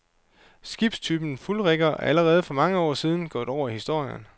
Skibstypen fuldrigger er allerede for mange år siden gået over i historien.